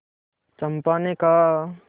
चंपा ने कहा